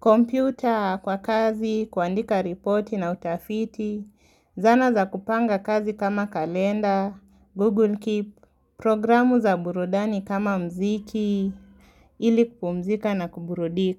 kompyuta kwa kazi, kuandika ripoti na utafiti, zana za kupanga kazi kama kalenda, google keep, programu za burudani kama mziki, ili kupumzika na kuburudika.